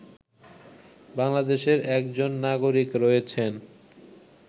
বাংলাদেশের একজন নাগরিক রয়েছেন